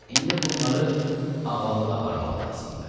İndi bunları ağalığa aparmaq lazımdır.